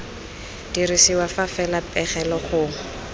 dirisiwa fa fela pegelo gongwe